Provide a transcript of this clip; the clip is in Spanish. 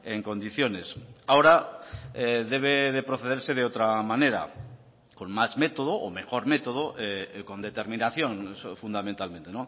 en condiciones ahora debe de procederse de otra manera con más método o mejor método con determinación fundamentalmente